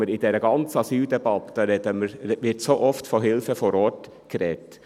In dieser ganzen Asyldebatte wird so oft von Hilfe vor Ort gesprochen.